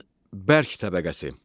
Yerin bərk təbəqəsi.